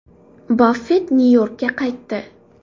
Baffett Nyu-Yorkka qaytdi.